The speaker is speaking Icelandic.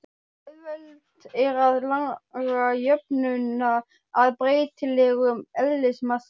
Auðvelt er að laga jöfnuna að breytilegum eðlismassa.